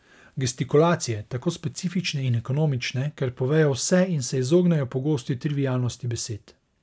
Gestikulacije, tako specifične in ekonomične, ker povejo vse in se izognejo pogosti trivialnosti besed.